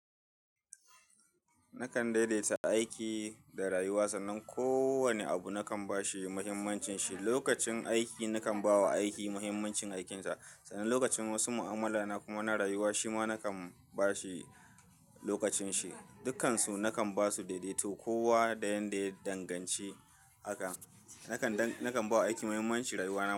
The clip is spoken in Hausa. Nakan daidaita aiki da rayuwa, sannan kowane abu nakan ba shi muhimmancin shi. Lokacin aiki nakan ba wa aiki muhimmancin aikinsa, sannan lokacin wasu mu'amala na kuma na rayuwa, shi ma nakan ba shi lokacin shi. Dukansu nakan ba su daidaito, kowa da yanda ya danganci haka. Nakan, nakan ba wa aiki muhimmancin rayuwa na kuma.